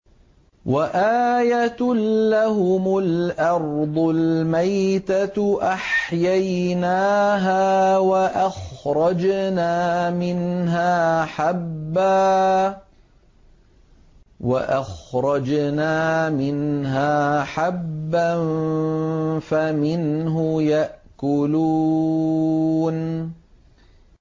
وَآيَةٌ لَّهُمُ الْأَرْضُ الْمَيْتَةُ أَحْيَيْنَاهَا وَأَخْرَجْنَا مِنْهَا حَبًّا فَمِنْهُ يَأْكُلُونَ